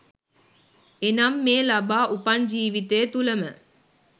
එනම් මේ ලබා උපන් ජීවිතය තුළ ම